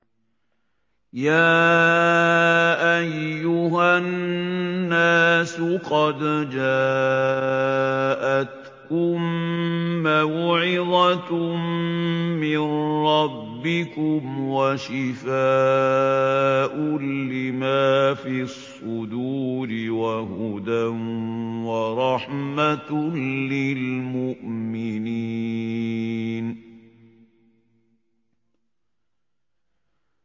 يَا أَيُّهَا النَّاسُ قَدْ جَاءَتْكُم مَّوْعِظَةٌ مِّن رَّبِّكُمْ وَشِفَاءٌ لِّمَا فِي الصُّدُورِ وَهُدًى وَرَحْمَةٌ لِّلْمُؤْمِنِينَ